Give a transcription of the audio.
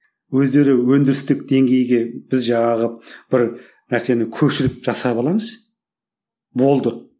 өздері өндірістік деңгейге біз жаңағы бір нәрсені көшіріп жасап болды